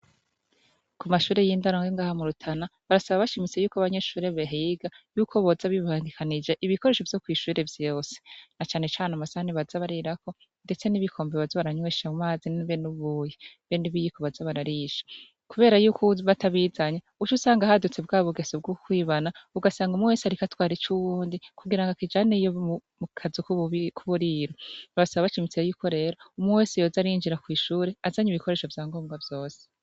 Ku mashuri y'indaro yo ngaha mu Rutana barasaba bashimitse abanyeshure bahiga yuko boza bibangikanije ibikoresho vyo kw'ishure vyose na cane cane amasahani baza barirako ndetse n'ibikombe baza baranywesha amazi be n'ubuyi be n'ibiyiko baza bararisha. Kubera yuko uwuza atabizanye haca haduka bwa bugeso bwo kwibana ugasanga umwe wese ariko atwara ic'uwundi kugira akijane mukazu k'uburiro. Basaba bashimitse yuko rero umwe wese yoza arinjira kw'ishure azanye ibikorsesho vya ngombwa vyose.